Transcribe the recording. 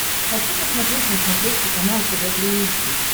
хочу посмотреть на смотрешке канал тв три эйч ди